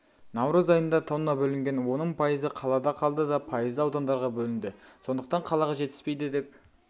наурыз айында тонна бөлінген оның пайызы қалада қалды да пайызы аудандарға бөлінді сондықтан қалаға жетіспейді деп